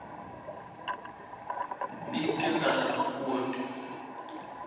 eikendal and groot